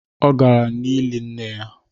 Ọ gara n’ili nne ya